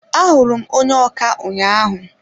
A hụrụ m onye ọkà ụnyaahụ.